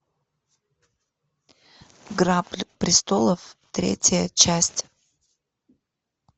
игра престолов третья часть